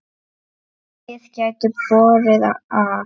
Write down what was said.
Fimm lið gætu borið af.